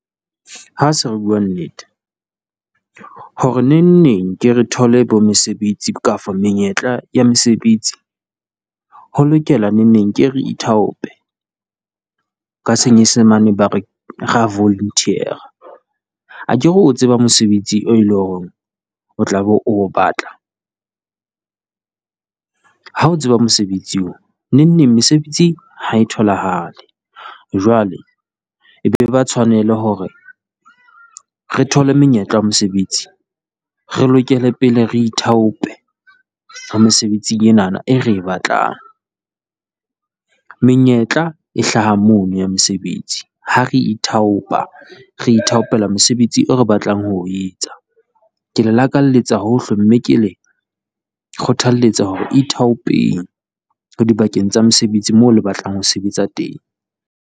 Ha se re bua nnete hore nengneng ke re thole bomesebetsi kapa menyetla ya mesebetsi ho lokela nengneng ke re ithaope. Ka Senyesemane ba re re a volunteer-ra. Akere o tseba mosebetsi e leng hore o tlabe o o batla, ha o tseba mosebetsi eo nengneng mesebetsi ha e tholahale, jwale e be eba tshwanelo hore re thole menyetla ya mesebetsi, re lokele pele re ithaope ho mesebetsi enana eo re e batlang, menyetla e hlaha mono ya mosebetsi, ha re ithaopa re ithaopela mosebetsi oo re batlang ho o etsa, ke le lakaletsa hohle mme ke le kgothalletsa hore le ithaopeng dibakeng tsa mesebetsi moo le batlang ho sebetsa teng.